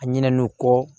A ɲinɛ n'o kɔ